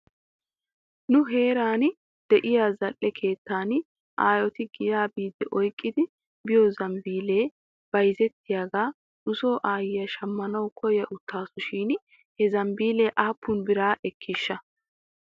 nu heeran de'iyaa zal'e keettan aayoti giyaa biiddi oyqqidi biyoo zambiilee bayzettiyaagaa nuso aayyiyaa shmmanaw koyawtaasu shin he zambiilee aappun biraa ekiishsha?